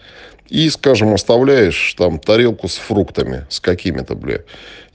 и скажем оставляешь там тарелку с фруктами с какими-то бля